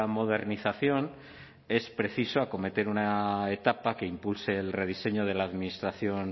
modernización es preciso acometer una etapa que impulse el rediseño de la administración